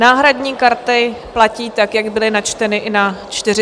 Náhradní karty platí tak, jak byly načteny i na 45. schůzi.